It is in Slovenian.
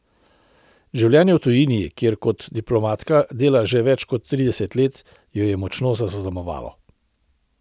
Življenje v tujini, kjer kot diplomatka dela že več kot trideset let, jo je močno zaznamovalo.